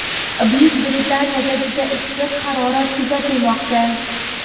Buyuk Britaniyada juda issiq harorat kuzatilmoqda.